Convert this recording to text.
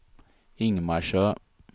Ingmarsö